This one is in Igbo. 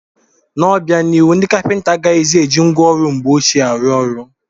N'obianihu, ndị kapịnta agaghịzi eji ngwa ọrụ mgbe ọchịe arụ ọrụ.